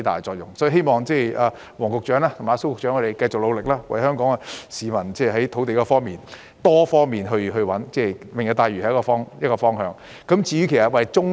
所以，我希望黃局長和蘇副局長繼續努力，為了香港市民，循多方面尋找土地，例如"明日大嶼願景"便是一個方法。